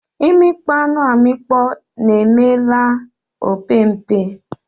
Imikpọ anu amikpọ na eme la opempe